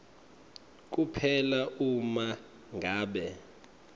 kuphela uma ngabe